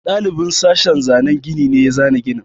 Ɗalibin sashin zanan gini ne ya zana ginin.